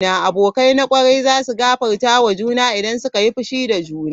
Abokai na kwarai za su gafarta wa juna idan suka yi fushi da juna.